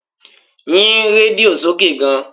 Yín rédíò sókè gan!